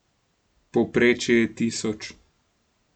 Povprečje je tisoč.